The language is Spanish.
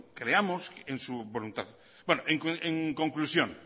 creamos en su voluntad en conclusión